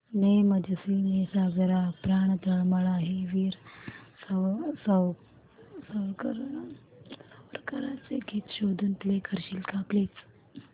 ने मजसी ने सागरा प्राण तळमळला हे वीर सावरकरांचे गीत शोधून प्ले करशील का प्लीज